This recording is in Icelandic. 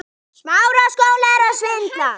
Já, trúir hún honum fyrir.